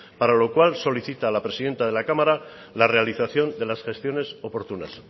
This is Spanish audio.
para lo cual solicita a la presidenta de la cámara la realización de las gestiones oportunas